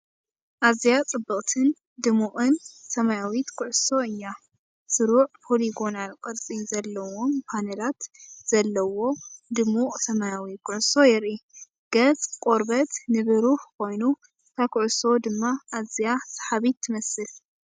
ኣዝያ ጽብቕትን ድሙቕን ሰማያዊት ኩዕሶ እያ! ስሩዕ ፖሊጎናል ቅርጺ ዘለዎም ፓነላት ዘለዎ ድሙቕ ሰማያዊ ኩዕሶ የርኢ። ገጽ ቆርበት ንብሩህ ኮይኑ እታ ኩዕሶ ድማ ኣዝያ ሰሓቢት ትመስል።